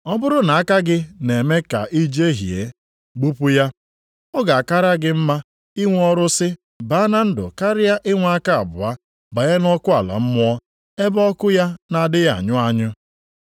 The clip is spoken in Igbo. Ọ bụrụ na aka gị na-eme ka i jehie, gbupụ ya. Ọ ga-akara gị mma inwe ọrụsị baa na ndụ karịa inwe aka abụọ banye nʼọkụ ala mmụọ, ebe ọkụ ya na-adịghị anyụ anyụ;